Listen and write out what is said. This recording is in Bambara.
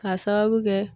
K'a sababu kɛ